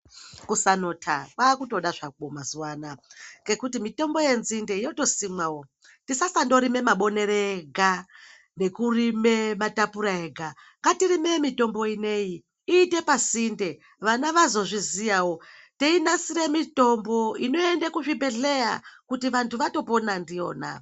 Kusanota kwakutoda zvako mazuvano aya ngekuti mitombo yenzinde yotosimwawo tisasandorima mabonere ega nekurime matapura ega ngatirime mitombo ino iyi iite pasinde, vana vazozvizivawo teinasire mitombo inoende kuzvibhedhlera kuti vantu vatopona ndiyona.